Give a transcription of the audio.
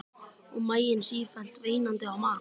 Og maginn sífellt veinandi á mat.